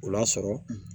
O lasɔrɔ